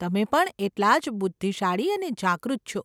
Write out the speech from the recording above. તમે પણ એટલા જ બુદ્ધિશાળી અને જાગૃત છો.